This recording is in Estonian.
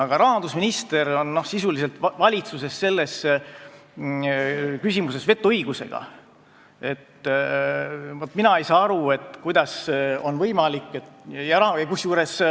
Aga rahandusministril on selles küsimuses valitsuses sisuliselt vetoõigus.